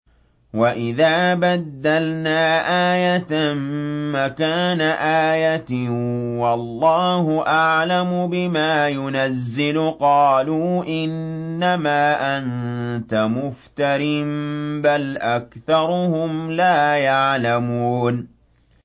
وَإِذَا بَدَّلْنَا آيَةً مَّكَانَ آيَةٍ ۙ وَاللَّهُ أَعْلَمُ بِمَا يُنَزِّلُ قَالُوا إِنَّمَا أَنتَ مُفْتَرٍ ۚ بَلْ أَكْثَرُهُمْ لَا يَعْلَمُونَ